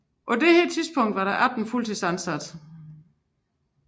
På dette tidspunkt var der 18 fuldtidsansatte